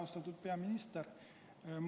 Austatud peaminister!